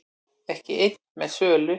Ekki einn með sölu